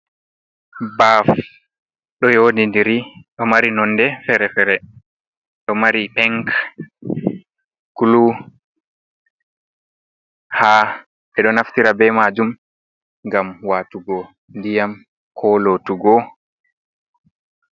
Ɓaaf, ɗo yoɗindiri, ɗo mari nonde fere-fere. Ɗo mari pink klu haa, ɓe ɗo naftira be majum ngam waatugo ndiyam ko lotugo.